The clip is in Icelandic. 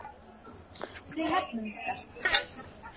Við hefnum okkar.